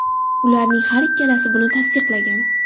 Ularning har ikkalasi buni tasdiqlagan.